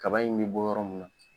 Kaba in be bɔ yɔrɔ min na